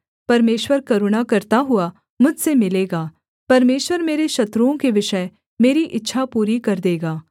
परमेश्वर करुणा करता हुआ मुझसे मिलेगा परमेश्वर मेरे शत्रुओं के विषय मेरी इच्छा पूरी कर देगा